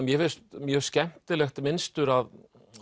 mér finnst mjög skemmtilegt mynstur að